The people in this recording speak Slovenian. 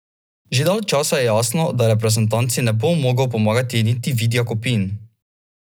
Že dalj časa je jasno, da reprezentanci ne bo mogel pomagati niti Vid Jakopin.